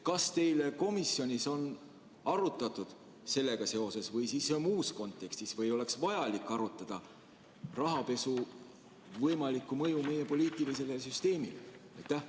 Kas teil komisjonis on arutatud sellega seoses või muus kontekstis või kas oleks vaja arutada rahapesu võimalikku mõju meie poliitilisele süsteemile?